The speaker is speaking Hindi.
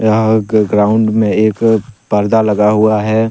यह ग ग्राउंड में एक पर्दा लगा हुआ है।।